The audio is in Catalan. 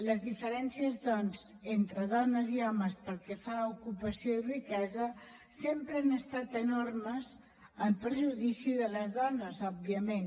les diferències doncs entre dones i homes pel que fa a ocupació i riquesa sempre han estat enormes en perjudici de les dones òbviament